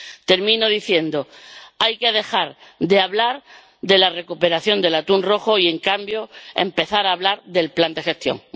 Termino diciendo hay que dejar de hablar de la recuperación del atún rojo y, en cambio, empezar a hablar del plan de gestión.